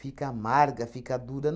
Fica amarga, fica dura.